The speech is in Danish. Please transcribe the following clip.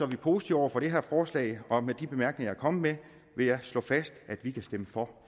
vi positive over for det her forslag og med de bemærkninger jeg er kommet med vil jeg slå fast at vi kan stemme for